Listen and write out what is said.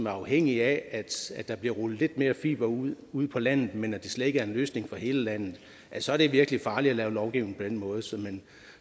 er afhængig af at der bliver rullet lidt mere fiber ud ude på landet men hvor det slet ikke er en løsning for hele landet så er det virkelig farligt at lave lovgivning på den måde men